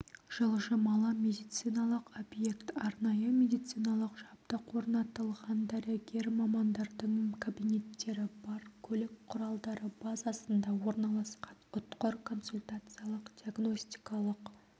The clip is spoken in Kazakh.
жылжымалы медициналық объект арнайы медициналық жабдық орнатылған дәрігер мамандардың кабинеттері бар көлік құралдары базасында орналасқан ұтқыр консультациялық-диагностикалық